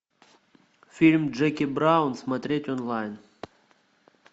фильм джеки браун смотреть онлайн